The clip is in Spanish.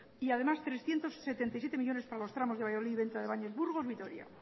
y además trescientos setenta y siete millónes para los tramos de valladolid venta de baños burgos vitoria